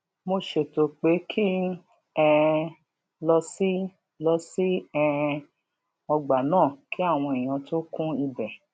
mo ṣètò pé kí n um lọ sí lọ sí um ọgbà náà kí àwọn èèyàn tó kún ibè